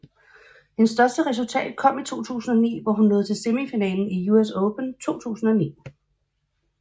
Hendes største resultat kom i 2009 hvor hun nåede til semifinalen i US Open 2009